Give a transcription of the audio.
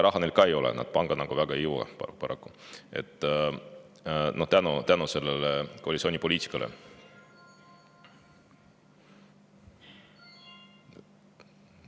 Raha neil ka ei ole, nad panka nagu väga ei jõua, paraku, tänu selle koalitsiooni poliitikale.